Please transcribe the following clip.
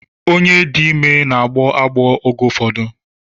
Onye dị ime n'agbọ agbọọ oge ụfọdụ.